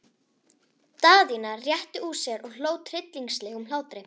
Daðína rétti úr sér og hló tryllingslegum hlátri.